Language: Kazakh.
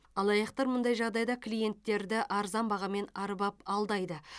алаяқтар мұндай жағдайда клиенттерді арзан бағамен арбап алдайды